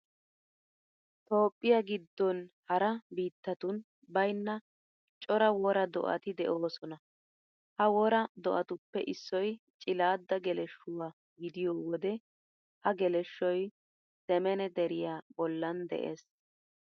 Toophphiya giddon hara biittatun baynna cora wora do'ati de'oosona. Ha wora do'atuppe issoy cilaadda geleshshuwa gidiyo wode ha geleshshoy semene deriya bollan de'ees.